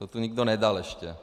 To tu nikdo nedal ještě.